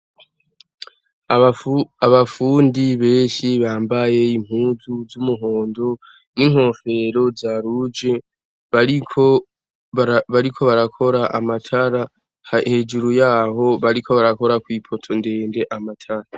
Abafundi benshi bambaye impunzu z'umuhondo n'inkofero zitukura bariko barakora amatara hejuru yaho bariko barakora kw'ipoto ndende amatara.